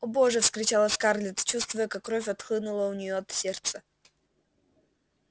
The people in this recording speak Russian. о боже вскричала скарлетт чувствуя как кровь отхлынула у нее от сердца